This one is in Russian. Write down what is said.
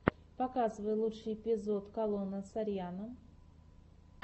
показывай лучший эпизод калона сарьяно